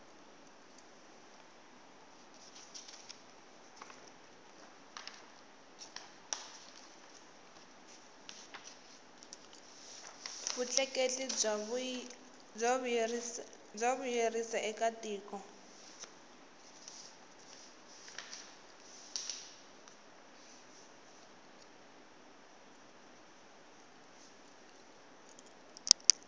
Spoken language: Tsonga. vutleketli bya vuyerisaeka tiko